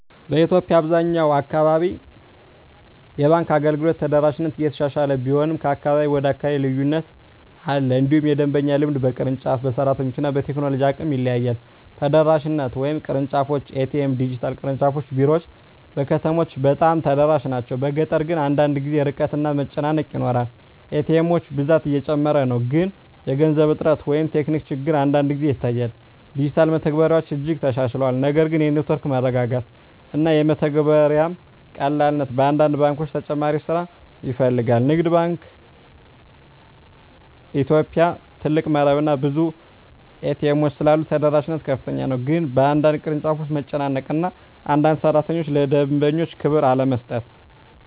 በኢትዮጵያ አብዛኛው አካባቢ የባንክ አገልግሎት ተደራሽነት እየተሻሻለ ቢሆንም ከአካባቢ ወደ አካባቢ ልዩነት አለ። እንዲሁም የደንበኛ ልምድ በቅርንጫፍ፣ በሰራተኞች እና በቴክኖሎጂ አቅም ይለያያል። ተደራሽነት (ቅርንጫፎች፣ ኤ.ቲ.ኤም፣ ዲጂታል) ቅርንጫፍ ቢሮዎች በከተሞች በጣም ተደራሽ ናቸው፤ በገጠር ግን አንዳንድ ጊዜ ርቀት እና መጨናነቅ ይኖራል። ኤ.ቲ. ኤሞች ብዛት እየጨመረ ነው፣ ግን የገንዘብ እጥረት ወይም ቴክኒክ ችግር አንዳንድ ጊዜ ይታያል። ዲጂታል መተግበሪያዎች እጅግ ተሻሽለዋል፣ ነገር ግን የኔትወርክ መረጋጋት እና የመተግበሪያ ቀላልነት በአንዳንድ ባንኮች ተጨማሪ ስራ ይፈልጋል። ንግድ ባንክ ኢትዮጵያ (CBE) ትልቅ መረብ እና ብዙ ኤ.ቲ. ኤሞች ስላሉት ተደራሽነት ከፍተኛ ነው፤ ግን በአንዳንድ ቅርንጫፎች መጨናነቅ እና አንዳንድ ሠራተኞች ለደንበኛ ክብር አለመስጠት